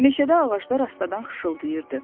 Meşədə ağaclar astadan xışıldayırdı.